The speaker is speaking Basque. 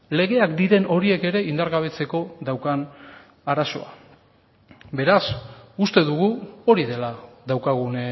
legeak diren horiek ere indargabetzeko daukan arazoa beraz uste dugu hori dela daukagun